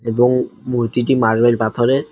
এবং মূর্তিটি মার্বেল পাথরের।